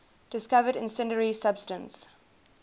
discovered incendiary substance